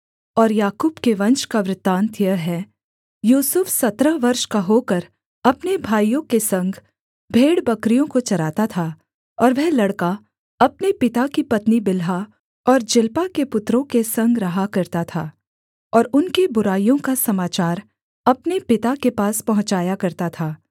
और याकूब के वंश का वृत्तान्त यह है यूसुफ सत्रह वर्ष का होकर अपने भाइयों के संग भेड़बकरियों को चराता था और वह लड़का अपने पिता की पत्नी बिल्हा और जिल्पा के पुत्रों के संग रहा करता था और उनकी बुराइयों का समाचार अपने पिता के पास पहुँचाया करता था